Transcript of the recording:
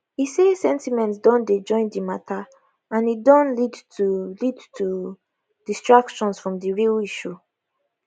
e say sentiments don dey join di mata and e don lead to lead to distractions from di real issue